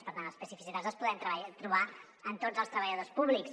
per tant les especificitats les podem trobar en tots els treballadors públics